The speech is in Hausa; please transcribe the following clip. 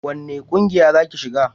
wani ƙungiya za ki shiga?